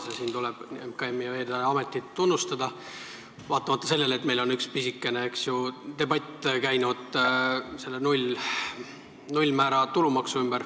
Selle eest tuleb ka Veeteede Ametit tunnustada, vaatamata sellele, et meil on üks pisikene debatt käinud nullmääraga tulumaksu üle.